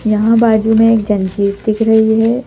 यहां बाजू में एक जंजीर दिख रही है ।